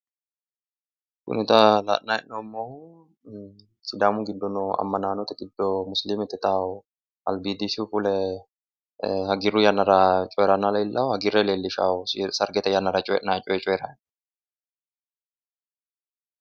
kuni xa la'nanni hee'noommohu sidaamu giddo noo amanaanote giddo musilimete yitawo albiidisihu fule hagiirru yannara coyiiranna leellishawo hagiirre leellishawo sargete yannara coyiinnanni coye coyiirayi no.